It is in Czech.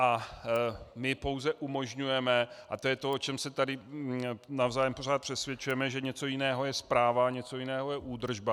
A my pouze umožňujeme, a to je to, o čem se tady navzájem pořád přesvědčujeme, že něco jiného je správa, něco jiného je údržba.